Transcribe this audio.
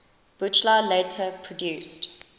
buchla later produced